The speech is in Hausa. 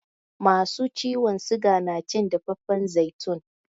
Masu ciwon siga na cin dafaffan zaitun